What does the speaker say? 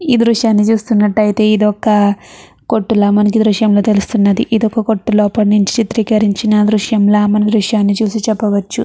ఈ దృశ్యాన్ని చూస్తున్నట్టయితే ఇదొక కొట్టు లా మనకి దృశ్యంలో తెలుస్తున్నది ఇదొక కొట్టు లోపల నుంచి చిత్రీకరించిన దృశ్యం లా మనం దృశ్యం చూసి చెప్పవచ్చు.